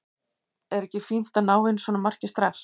Er ekki fínt að ná inn svona marki strax?